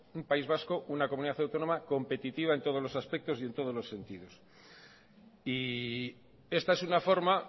un país vasco una comunidad autónoma competitiva en todos los aspectos y en todos los sentidos y esta es una forma